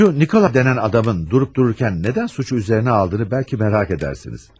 Şu Nikolay denen adamın durup dururken neden suçu üzerine aldığını belki merak edersiniz.